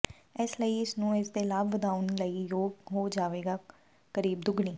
ਇਸ ਲਈ ਇਸ ਨੂੰ ਇਸ ਦੇ ਲਾਭ ਵਧਾਉਣ ਲਈ ਯੋਗ ਹੋ ਜਾਵੇਗਾ ਕਰੀਬ ਦੁੱਗਣੀ